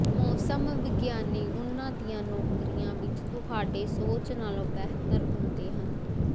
ਮੌਸਮ ਵਿਗਿਆਨੀ ਉਨ੍ਹਾਂ ਦੀਆਂ ਨੌਕਰੀਆਂ ਵਿਚ ਤੁਹਾਡੇ ਸੋਚ ਨਾਲੋਂ ਬਿਹਤਰ ਹੁੰਦੇ ਹਨ